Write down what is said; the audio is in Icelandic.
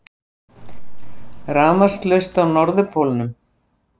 Rafmagnslaust á Norðurpólnum